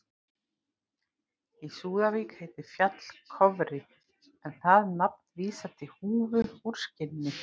Í Súðavík heitir fjall Kofri en það nafn vísar til húfu úr skinni.